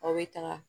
Aw bɛ taga